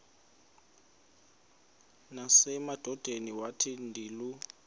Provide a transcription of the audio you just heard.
nasemadodeni wathi ndilu